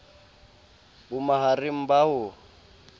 bo ma hareng ba ho